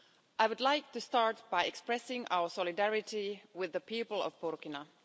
I would like to start by expressing our solidarity with the people of Burkina.